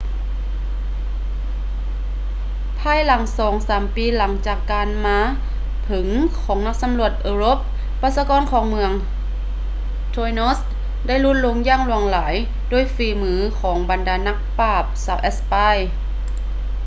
ພາຍໃນສອງສາມປີຫຼັງຈາກການມາເຖິງຂອງນັກສຳຫຼວດເອີຣົບ ປະຊາກອນຂອງເມືອງ tainos ໄດ້ຫຼຸດລົງຢ່າງຫຼວງຫຼາຍໂດຍຝີມືຂອງບັນດານັກປາບຊາວແອັດສະປາຍ